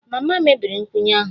Mama mebiri nkwụnye ahụ